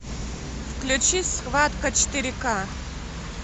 включи схватка четыре ка